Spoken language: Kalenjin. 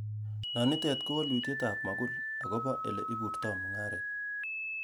Nonitet ko wolutietab mogul ,agobo ele borto mung'aret.